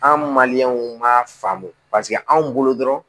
An m'a faamu paseke anw bolo dɔrɔn